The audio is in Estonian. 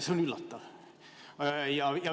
See on üllatav.